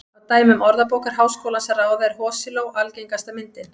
Af dæmum Orðabókar Háskólans að ráða er hosiló algengasta myndin.